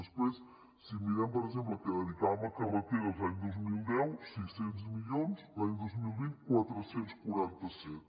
després si mirem per exemple què dedicàvem a carreteres l’any dos mil deu sis cents milions l’any dos mil vint quatre cents i quaranta set